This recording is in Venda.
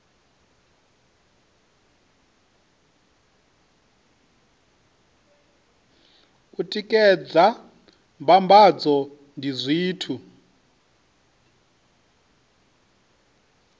u tikedza mbambadzo ndi zwithu